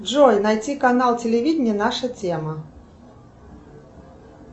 джой найти канал телевидения наша тема